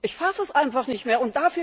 Ich fasse es einfach nicht mehr!